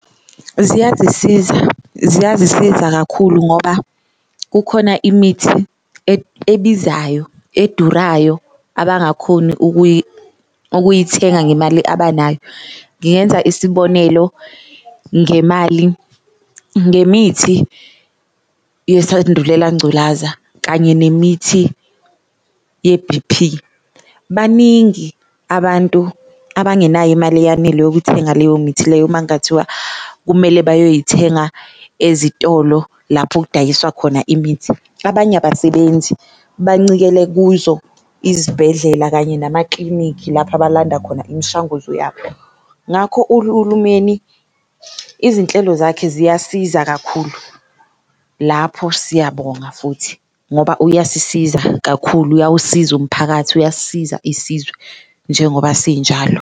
Ziyazisiza ziyazisiza kakhulu ngoba kukhona imithi ebizayo edurayo abangakhoni ukuyithenga ngemali abanayo, ngingenza isibonelo ngemali ngemithi yesandulela ngculaza kanye nemithi ye-B_P. Baningi abantu abangenayo imali eyanele yokuthenga leyo mithi leyo makungathiwa kumele bazoyithenga ezitolo lapho kudayiswa khona imithi. Abanye abasebenzi bancikele kuzo izibhedlela kanye namaklinikhi lapho abalanda khona imishanguzo yabo, ngakho izinhlelo zakhe ziyasiza kakhulu lapho siyabonga futhi ngoba uyasisiza kakhulu, uyawusiza umphakathi, uyasisiza isizwe njengoba sinjalo.